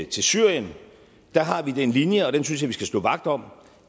til syrien har vi den linje og den synes jeg vi skal stå vagt om